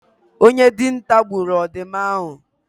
Onye dinta gburu ọdụm ahụ